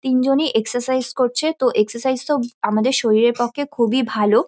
তিনজনই এক্সারসাইস করছে তো এক্সারসাইস -টাও আমাদের শরীরের পক্ষে খুবই ভালো।